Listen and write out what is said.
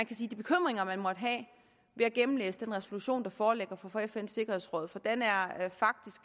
de bekymringer man måtte have ved at gennemlæse den resolution der foreligger fra fns sikkerhedsråd for den